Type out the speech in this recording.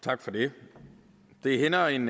tak for det det hænder en